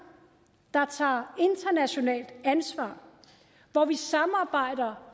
der tager internationalt ansvar hvor vi samarbejder